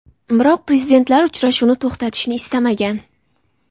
Biroq prezidentlar uchrashuvni to‘xtatishni istamagan.